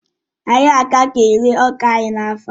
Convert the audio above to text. Anyị agaghị ere ọka anyị n'afọ a